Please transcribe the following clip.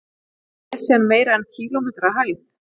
Er Esjan meira en kílómetri að hæð?